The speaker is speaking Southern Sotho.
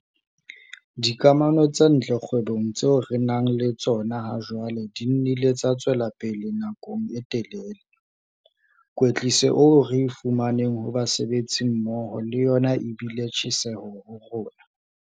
Dikamano tse ntle kgwebong tseo re nang le tsona hajwale di nnile tsa tswela pele nakong e telele. Kwetliso eo re e fumaneng ho basebetsimmoho le yona e bile tjheseho ho rona.